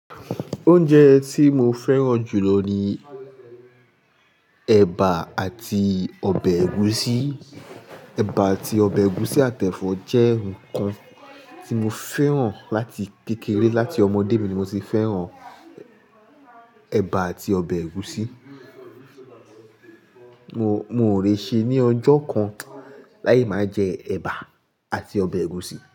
Oúnjẹ tí mo fẹ́ràn jù lọ ni ẹ̀bà àti ọbẹ̀ ẹ̀gúsí. Ẹ̀bà àti ọbẹ̀ ẹ̀gúsí àtẹ fọ jẹ́ nǹkan tí mo fẹ́ràn láti kékeré, láti ọmọdé mi ni mo ti fẹ́ràn ẹ̀bà àti ọbẹ̀ ẹ̀gúsí. Mo, mo ò lè ṣe ní ọjọ́ kan láì máa jẹ ẹ̀bà àti ọbẹ̀ ẹ̀gúsí.